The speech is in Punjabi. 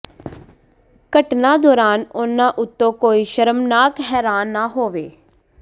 ਘਟਨਾ ਦੌਰਾਨ ਉਨ੍ਹਾਂ ਉੱਤੇ ਕੋਈ ਸ਼ਰਮਨਾਕ ਹੈਰਾਨ ਨਾ ਹੋਵੋ